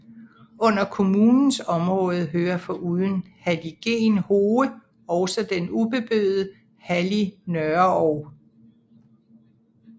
Under kommunens område hører foruden halligen Hoge også den ubeboede hallig Nørreog